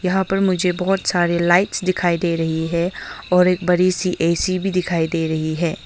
यहां पर मुझे बहोत सारे लाइट्स दिखाई दे रही है और एक बड़ी सी ए_सी भी दिखाई दे रही है।